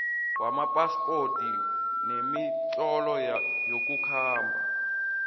wamaphaspoti nemitlolo yokukhamba